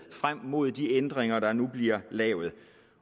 frem mod de ændringer der nu bliver lavet